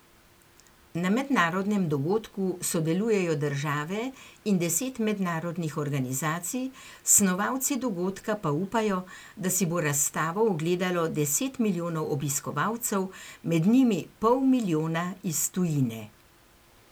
Na mednarodnem dogodku sodelujejo države in deset mednarodnih organizacij, snovalci dogodka pa upajo, da si bo razstavo ogledalo deset milijonov obiskovalcev, med njimi pol milijona iz tujine.